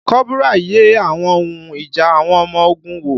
Kọ́bùrà yẹ àwọn ohun ìjà àwọn ọmọ ogun wò